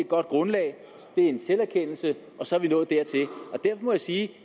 godt grundlag det er en selverkendelse og så er vi nået dertil og derfor må jeg sige at